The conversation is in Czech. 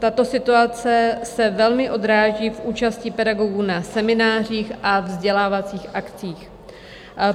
Tato situace se velmi odráží v účasti pedagogů na seminářích a vzdělávacích akcích.